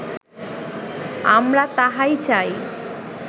আমরা তাহাই চাই